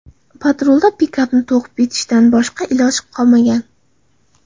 Patrulda pikapni ta’qib etishdan boshqa iloj qolmagan.